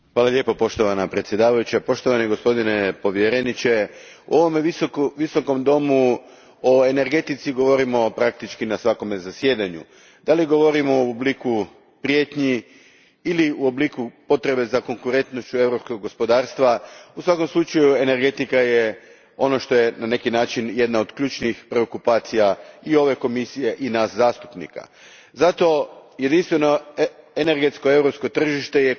Gospođo predsjednice, poštovani gospodine povjereniče, u ovom visokom domu o energetici govorimo praktički na svakom zasjedanju. Da li govorimo u obliku prijetnji ili u obliku potrebe za konkurentnošću europskog gospodarstva, u svakom slučaju energetika je ono što je na neki način jedna od ključnih preokupacija i ove Komisije, i nas zastupnika. Zato, jedinstveno energetsko europsko tržište je